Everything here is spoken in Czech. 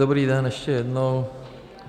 Dobrý den ještě jednou.